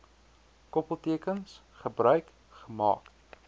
koppeltekens gebruik gemaak